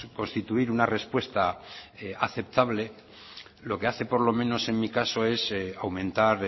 constituir una respuesta aceptable lo que hace por lo menos en mi caso es aumentar